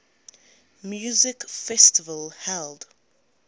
music festival held